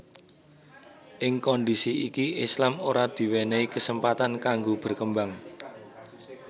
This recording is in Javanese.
Ing kondisi iki Islam ora diwenehi kesempatan kanggo berkembang